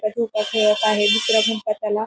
झोका खेळत आहे दूसरा मित्र त्याला--